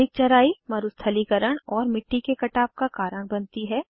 अधिक चराई मरुस्थलीकरण और मिटटी के कटाव का कारण बनती है